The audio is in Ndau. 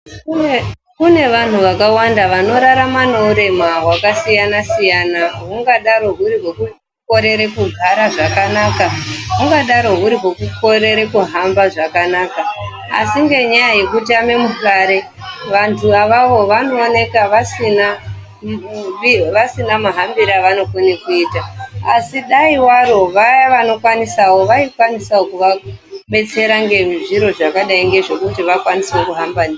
Kune vanhu vakawanda vanorarama nehurema hwakasiyanasiyana hungadaro huri hwekukorere kugara zvakanaka hugadaro huri hwekukorere kuhamba zvakanaka asi ngenyaya yekutame muhlare vantu avavo vanooneka vasina mahambire avanokone kuita asi dai waro vaya vanokwanisawo vaikwanisawo kuvabetsera ngezviro zvakadai ngezvekuti vakwanise kuhamba ndizvo.